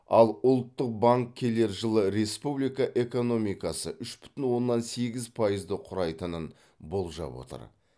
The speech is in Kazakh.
ал ұлттық банк келер жылы республика экономикасы үш бүтін оннан сегіз пайызды құрайтынын болжап отыр